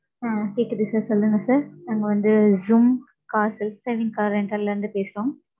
ஆ கேக்குது sir சொல்லுங்க sir. நாங்க வந்து zoom car self driving car rental ல இருந்து பேசுறோம்.